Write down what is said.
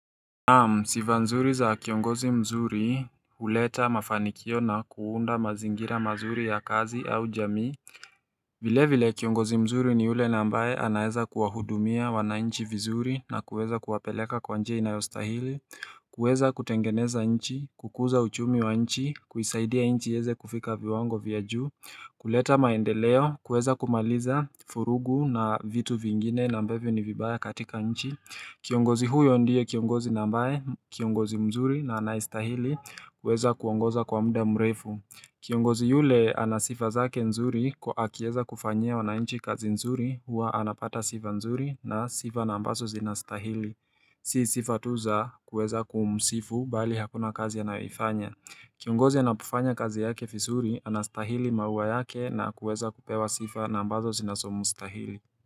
Naam, sifa nzuri za kiongozi mzuri, huleta mafanikio na kuunda mazingira mazuri ya kazi au jamii vile vile kiongozi mzuri ni ule na ambaye anaeza kuwa hudumia wananchi vizuri na kuweza kuwapeleka kwa njia inayostahili kuweza kutengeneza nchi, kukuza uchumi wa nchi, kuisaidia nchi iyeze kufika viwango vya juu kuleta maendeleo, kuweza kumaliza furugu na vitu vingine na ambvyo ni vibaya katika nchi Kiongozi huyo ndiye kiongozi na ambaye, kiongozi mzuri na anaye stahili kuweza kuongoza kwa muda mrefu Kiongozi yule ana sifa zake nzuri kwa akieza kufanya wanainchi kazi nzuri hua anapata sifa nzuri na sifa na ambazo zinastahili Si sifa tu za kuweza kumusifu bali hakuna kazi anayo ifanya Kiongozi anapofanya kazi yake vizuri anastahili maua yake na kuweza kupewa sifa na ambazo zinazo mstahili.